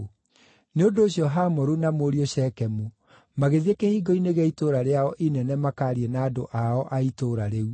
Nĩ ũndũ ũcio Hamoru na mũriũ Shekemu magĩthiĩ kĩhingo-inĩ gĩa itũũra rĩao inene makaarie na andũ ao a itũũra rĩu.